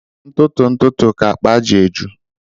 Ntụtụ ntụtụ ka akpa ji eju